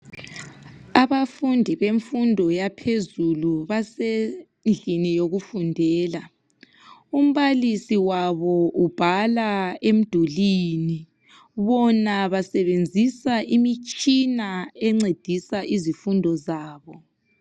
Abafundi bemfundo yaphezulu basendlini yokufundela. Umbalisi wabo ubhala emdulini bona basebenzisa imitshina encedisa izifundo zabo.